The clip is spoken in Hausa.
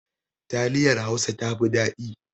Taliyar Hausa ta fi dadi